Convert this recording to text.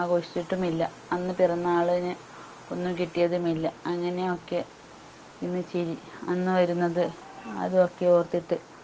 ആഘോഷിച്ചിട്ടും ഇല്ല അന്ന് പിറന്നാളിന് ഒന്നും കിട്ടിയതുമില്ല അങ്ങനെ ഒക്കെ ഇന്ന് ചിരി അന്നുവരുന്നത് അത് ഒക്കെ ഓർത്തിട്ട്